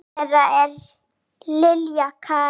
Dóttir þeirra er Lilja Karen.